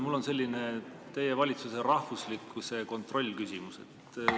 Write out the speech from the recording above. Mul on selline kontrollküsimus teie valitsuse rahvuslikkuse kohta.